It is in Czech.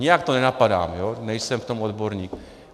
Nijak to nenapadám, nejsem v tom odborník.